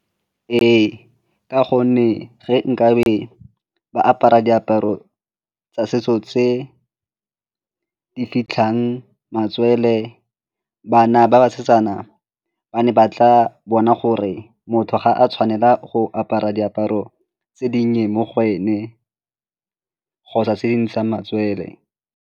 Ee, ka gonne ge nkabe ba apara diaparo tsa setso tse di fitlhang matswele, bana a ba basetsana ba ne ba tla bona gore motho ga a tshwanela go apara diaparo tse dinnye mo go ene kgotsa tse di ntshang matsele.